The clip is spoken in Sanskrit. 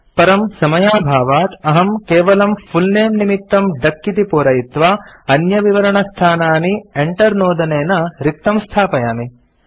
परं समयाभावात् अहं केवलम् फुल् नमे निमित्तम् डक इति पूरयित्वा अन्यविवरणस्थानानि enter नोदनेन रिक्तं स्थापयामि